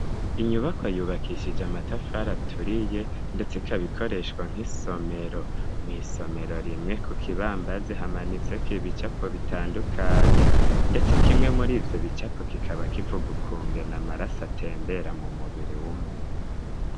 Inyubako yubakishije amatafara aturiye, ndetse ikabikoreshwa nk'isomero mw'isomero rimwe ku kibamba zihamanitseko ibicapo bitandukanye, ndetse kimwe muri ivyo bicapo kikaba kivugukunge na amaraso atembera mu mubiri w'umuntu.